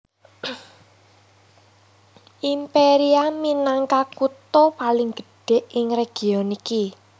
Imperia minangka kutha paling gedhé ing region iki